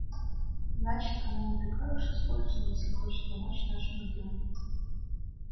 значит она не такая уж испорченная если хочет помочь нашему делу